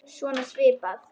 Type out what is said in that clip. Svona svipað.